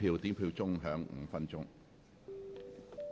表決鐘會響5分鐘。